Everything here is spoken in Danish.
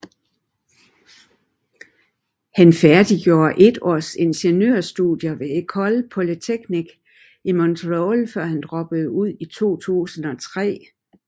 Han færdiggjorde et års ingeniørstudier ved École Polytechnique i Montréal før han droppede ud i 2003